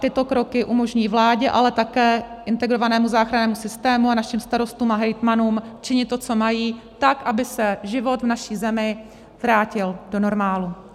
Tyto kroky umožní vládě, ale také integrovanému záchrannému systému a našim starostům a hejtmanům činit to, co mají, tak aby se život v naší zemi vrátil do normálu.